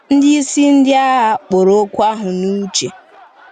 Ndị isi ndị agha kpọrọ okwu ahụ n’uche.